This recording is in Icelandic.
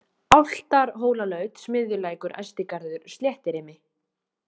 Álftarhólalaut, Smiðjulækur, Ystigarður, Sléttirimi